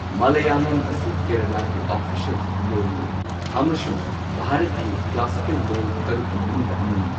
ꯃꯥꯂꯥꯌꯥꯂꯝ ꯑꯁꯤ ꯀꯦꯔꯂꯥꯒꯤ ꯑꯣꯐꯤꯁꯤꯌꯦꯜ ꯂꯣꯜꯅꯤ꯫ ꯑꯃꯁꯨꯡ ꯚꯥꯔꯠꯀꯤ ꯀ꯭ꯂꯥꯁꯤꯀꯦꯜ ꯂꯣꯜ ꯇꯔꯨꯛꯀꯤ ꯃꯅꯨꯡꯗ ꯑꯃꯅꯤ꯫